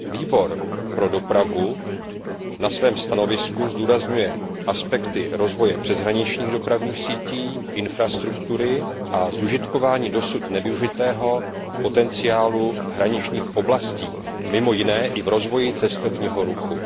Výbor pro dopravu a cestovní ruch ve svém stanovisku zdůrazňuje aspekty rozvoje přeshraničních dopravních sítí, infrastruktury a zužitkování dosud nevyužitého potenciálu hraničních oblastí, mimo jiné i v rozvoji cestovního ruchu.